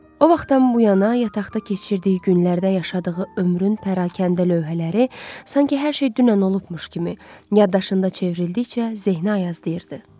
O vaxtdan bu yana yataqda keçirdiyi günlərdə yaşadığı ömrün pərakəndə lövhələri, sanki hər şey dünən olmuşmuş kimi yaddaşında çevrildikcə zehinə ayaz deyirdi.